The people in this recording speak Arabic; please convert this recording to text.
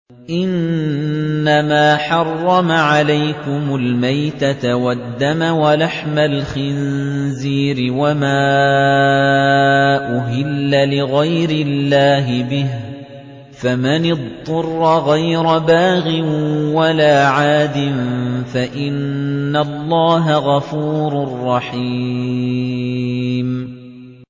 إِنَّمَا حَرَّمَ عَلَيْكُمُ الْمَيْتَةَ وَالدَّمَ وَلَحْمَ الْخِنزِيرِ وَمَا أُهِلَّ لِغَيْرِ اللَّهِ بِهِ ۖ فَمَنِ اضْطُرَّ غَيْرَ بَاغٍ وَلَا عَادٍ فَإِنَّ اللَّهَ غَفُورٌ رَّحِيمٌ